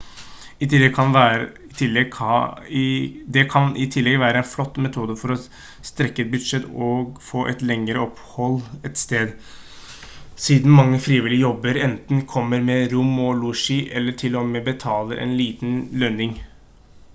det kan i tillegg være en flott metode for å strekke et budsjett og få et lengre opphold et sted siden mange frivillige jobber enten kommer med rom og losji eller til-og-med betaler en liten lønning